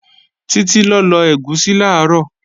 Títí lọ lọ ẹ̀gúsí làárọ̀